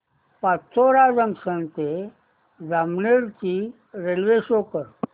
Pachora junction ते जामनेर ची railway show कर